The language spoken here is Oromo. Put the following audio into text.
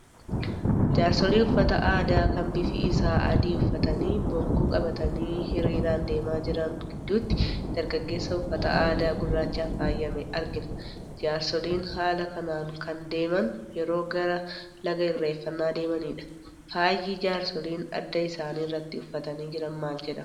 Jaarsolii uffata aadaa kan bifi isaa adii uffatanii bokkuu qabatanii hiriiraan deemaa jiran gidduutti dargaggeessa uffata aadaa gurraachaan faayame argina. Jaarsoliin haala kanaan kan deeman yeroo gara laga irreeffannaa deemani dha. Faayi jaarsoliin adda isaaniirratti uffatanii jiran maal jedhama ?